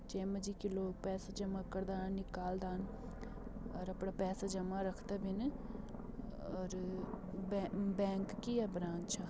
जै मा जी की लोग पैसा जमा कर दान निकल दान और अपड़ा पैसा जमा रखदा भिन और बैंक - बैंक की ये ब्रांच छा।